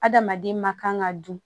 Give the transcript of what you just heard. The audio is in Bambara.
Adamaden ma kan ka dun